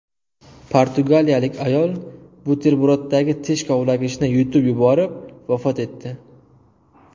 Portugaliyalik ayol buterbroddagi tish kavlagichni yutib yuborib vafot etdi.